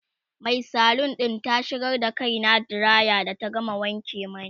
Mai salon ɗin ta shigar da kaina diraya da ta gama wanke mani